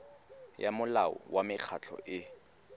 ya molao wa mekgatlho e